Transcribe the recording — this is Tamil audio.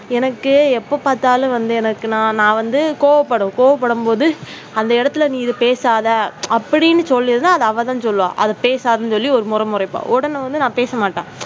எனக்கு எப்போ பார்த்தாலும் வந்து எனக்கு நான் வந்து கோபப்படுவேன் கோபப்படும்போது அந்த இடத்தில் நீ இதை பேசாத அப்படின்னு சொல்லி இருந்தா அது அவ தான் சொல்லுவா அது பேசாதன்னு சொல்லி ஒரு முறை முறைப்பா உடனே வந்து நான் பேசமாட்டேன்.